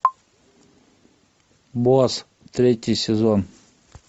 босс третий сезон